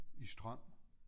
I strøm